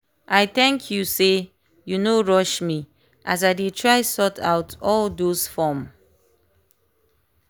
i thank you sey you no rush me as i dey try sort out all those form.